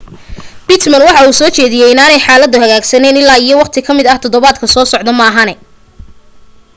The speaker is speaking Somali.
pittman waxa uu soo jeediyay inaanay xaaladuhu hagaagayn illaa iyo waqti kamid todobaadka soo socda maahane